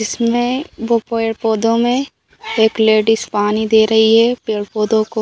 इसमें वो पेड़-पौधों में एक लेडीज पानी दे रही है पेड़-पौधों को।